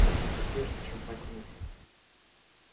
однако прежде чем покинуть